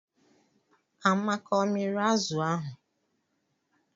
Amaka ọ miri azụ ahụ?